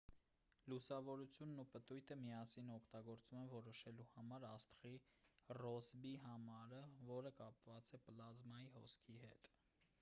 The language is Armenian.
լուսավորությունն ու պտույտը միասին օգտագործվում են որոշելու համար աստղի ռոսբի համարը որը կապված է պլազմայի հոսքի հետ